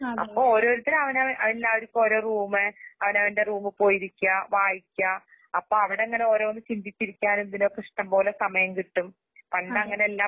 അപ്പൊഓരോരുത്തര് അവനവ അവനെല്ലാവർക്കും ഓരോറൂമ് അവൻവറെറൂമുപോയിരിക്കാ, വായിക്കാ അപ്പഅവിടങ്ങനെഓരോന്ന്ചിന്തിച്ചിരിക്കാനെന്തിലൊക്കിഷ്ടംപോലെസമയംകിട്ടും. പണ്ടങ്ങനെയല്ലാ